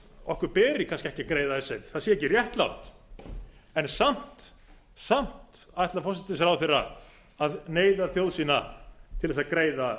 okkur beri kannski ekki að greiða icesave það sé ekki réttlátt en samt ætlar forsætisráðherra að neyða þjóð sína til að greiða